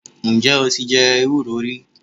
Ǹ jé o ti je ewúro rí